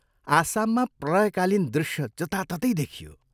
आसाममा प्रलयकालीन दृश्य जताततै देखियो।